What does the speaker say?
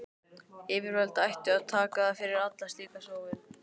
Yfirvöld ættu að taka fyrir alla slíka sóun.